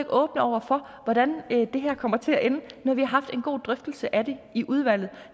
åbne over for hvordan det her kommer til at ende når vi har haft en god drøftelse af det i udvalget